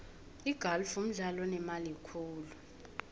igalfu mdlalo onemali khulu